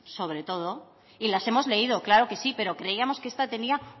sobre todo y las hemos leído claro que sí pero creíamos que esta tenía